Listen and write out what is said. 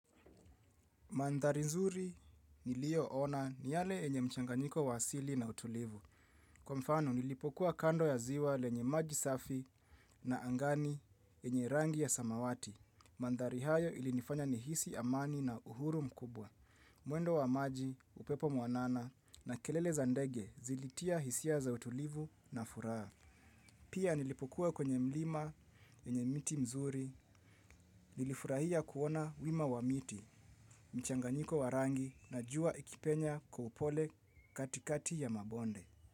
Mandhari nzuri niliyoona ni yale yenye mchanganyiko wa asili na utulivu. Kwa mfano, nilipokuwa kando ya ziwa lenye maji safi na angani yenye rangi ya samawati. Mandhari hayo ilinifanya nihisi amani na uhuru mkubwa. Mwendo wa maji, upepo mwanana na kelele za ndege zilitia hisia za utulivu na furaha. Pia nilipokuwa kwenye mlima enye miti mzuri. Nilifurahia kuona wima wa miti, mchanganyiko wa rangi na jua ikipenya kwa upole katikati ya mabonde.